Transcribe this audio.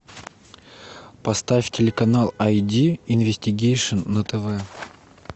поставь телеканал ай ди инвестигейшн на тв